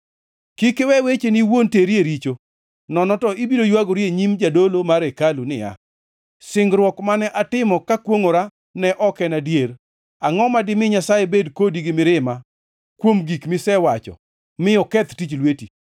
Kik iwe wecheni iwuon teri e richo, nono to ibiro ywagori e nyim jadolo mar hekalu niya, “Singruok mane atimo kakwongʼora ne ok en adier. Angʼo ma dimi Nyasaye bed kodi gi mirima kuom gik misewacho mi oketh tich lweti?